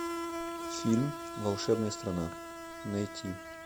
фильм волшебная страна найти